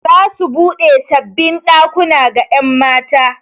Za su buɗe sabbin ɗakuna ga 'yan mata.